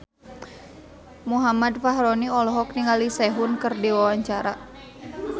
Muhammad Fachroni olohok ningali Sehun keur diwawancara